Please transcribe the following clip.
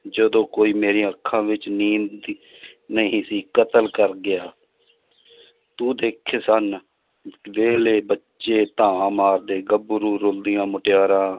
ਜਦੋਂ ਕੋਈ ਮੇਰੀਆਂ ਅੱਖਾਂ ਵਿੱਚ ਨੀਂਦ ਦੀ ਨਹੀਂ ਸੀ ਕਤਲ ਕਰ ਗਿਆ ਤੂੰ ਦੇਖੇ ਸਨ ਵੇਲੇ ਬੱਚੇ ਧਾਹਾਂ ਮਾਰਦੇ ਗੱਭਰੂ ਰੋਂਦੀਆਂ ਮੁਟਿਆਰਾਂ